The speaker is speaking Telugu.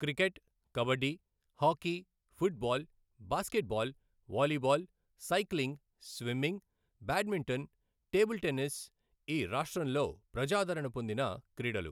Cricket, kabaddi, hockey, football, basketball, volleyball, cycling, swimming, badminton, table tennis ఈ రాష్ట్రంలో ప్రజాదరణ పొందిన క్రీడలు.